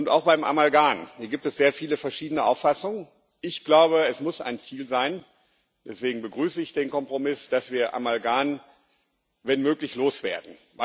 Auch beim Amalgam gibt es sehr viele verschiedene Auffassungen. Ich glaube, es muss ein Ziel sein deswegen begrüße ich den Kompromiss dass wir Amalgam wenn möglich loswerden.